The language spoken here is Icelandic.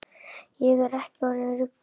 Ég er ekki orðin rugluð.